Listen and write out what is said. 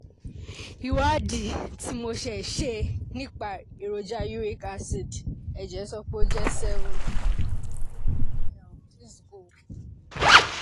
ìwádìí tí mo ṣe ṣe nípa èròjà uric acid nínú ẹ̀jẹ̀ sọ pé ó jẹ́ 7